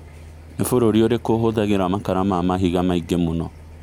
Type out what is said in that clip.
nĩ bũrũri ũrikũ ũhũthagira makara ma mahĩnga maĩngĩ mũno